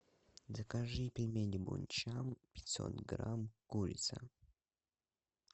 закажи пельмени бончан пятьсот грамм курица